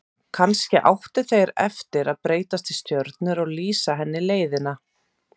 Kannski áttu þeir eftir að breytast í stjörnur og lýsa henni leiðina.